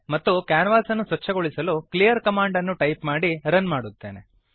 ಮತ್ತು ಕ್ಯಾನ್ವಾಸನ್ನು ಸ್ವಚ್ಛಗೊಳಿಸಲು ಕ್ಲೀಯರ್ ಕಮಾಂಡ್ ಅನ್ನು ಟೈಪ್ ಮಾಡಿ ರನ್ ಮಾಡುತ್ತೇನೆ